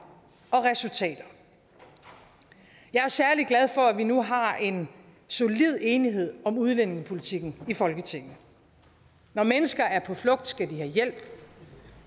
og resultater jeg er særlig glad for at vi nu har en solid enighed om udlændingepolitikken i folketinget når mennesker er på flugt skal de have hjælp